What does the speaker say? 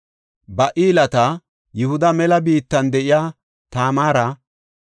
Ba7ilaata, Yihuda mela de7iya Tamaara,